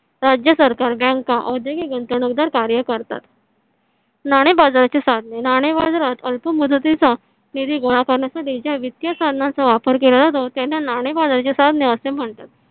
राज्य सरकार bank औद्योगिक गुंतवणूकदार कार्य करतात. नाणे बाजाराचे साधने नाणे बाजारात अल्पमुदतीचा निधी गोळा करण्यासाठी ज्या वित्तीय साधनाचा वापर केला त्यांना नाणे बाजाराची साधने असे म्हणतात